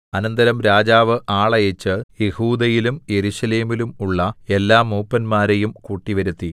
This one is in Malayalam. അനന്തരം രാജാവ് ആളയച്ച് യെഹൂദയിലും യെരൂശലേമിലും ഉള്ള എല്ലാ മൂപ്പന്മാരെയും കൂട്ടിവരുത്തി